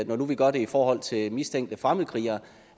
nu vi gør det i forhold til mistænkte fremmedkrigere